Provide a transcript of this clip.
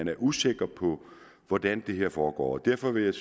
er usikker på hvordan det her foregår og derfor vil jeg